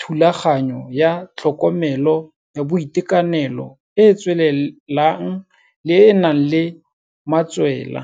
thulaganyo ya tlhokomelo ya boitekanelo e e tswelelang e e nang le matswela.